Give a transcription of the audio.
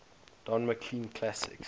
don mclean classics